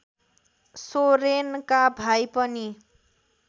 सोरेनका भाइ पनि